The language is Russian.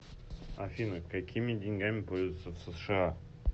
афина какими деньгами пользуются в сша